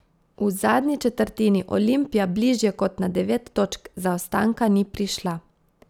V zadnji četrtini Olimpija bližje kot na devet točk zaostanka ni prišla.